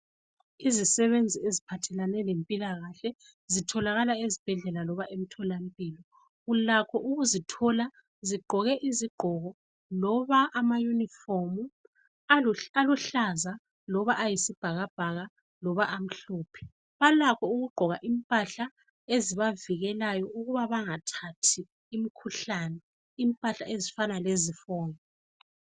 Izisebenzi eziphathelane lempilakahle zitholakala ezibhedlela noma emtholampilo. Ulakho ukuzithola zigqoke izigqoko loba amayunifomu aluhlaza loba ayisibhakabhaka, loba amhlophe. Balakho ukugqoka impahla ezibavikelayo ukuba bangathathi imkhuhlane, impahla ezifana lezifonyo.